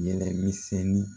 Yɛrɛmisɛnni